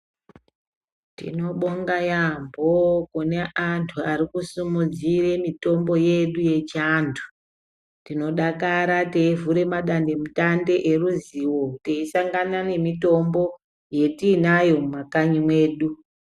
Tinobonga yaampho kune antu ari kusumudzire mitombo yedu yechiantu . Tinodakara teivhure madandemutande eruzivo, teisangana nemitombo yatiinayo mumakanyi mwedu.